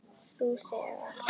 Þú þegir.